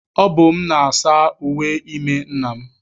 Ọ bụ m na-asa uwe ime nna m.